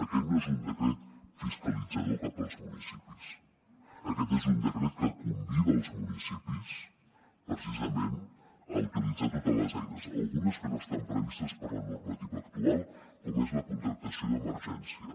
aquest no és un decret fiscalitzador cap als municipis aquest és un decret que convida els municipis precisament a utilitzar totes les eines algunes que no estan previstes per la normativa actual com és la contractació d’emergència